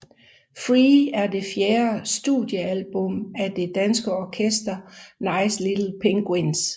Free er det fjerde studiealbum af det danske orkester Nice Little Penguins